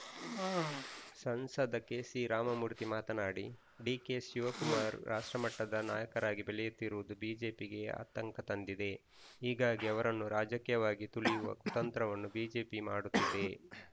ಸಂಸದ ಕೆಸಿರಾಮಮೂರ್ತಿ ಮಾತನಾಡಿ ಡಿಕೆಶಿವಕುಮಾರ್‌ ರಾಷ್ಟ್ರಮಟ್ಟದ ನಾಯಕರಾಗಿ ಬೆಳೆಯುತ್ತಿರುವುದು ಬಿಜೆಪಿಗೆ ಆತಂಕ ತಂದಿದೆ ಹೀಗಾಗಿ ಅವರನ್ನು ರಾಜಕೀಯವಾಗಿ ತುಳಿಯುವ ಕುತಂತ್ರವನ್ನು ಬಿಜೆಪಿ ಮಾಡುತ್ತಿದೆ